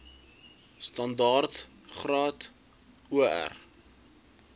standaard graad or